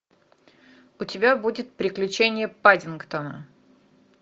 у тебя будет приключения паддингтона